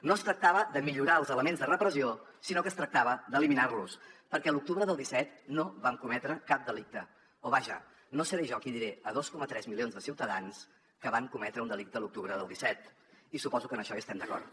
no es tractava de millorar els elements de repressió sinó que es tractava d’eliminar los perquè l’octubre del disset no vam cometre cap delicte o vaja no seré jo qui diré a dos coma tres milions de ciutadans que van cometre un delicte a l’octubre del disset i suposo que en això estem d’acord